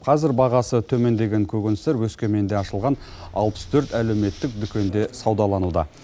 қазір бағасы төмендеген көкөністер өскеменде ашылған алпыс төрт әлеуметтік дүкенде саудалануда